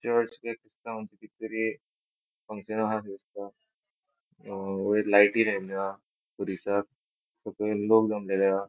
चर्च दिसता कित तरी फंगक्शन हा अशे दिसता अ वयर लायटी लायले हा खुरिसाक सकयल लोक जमलेले हा.